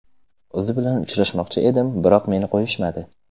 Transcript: O‘zi bilan uchrashmoqchi edim, biroq meni qo‘yishmadi.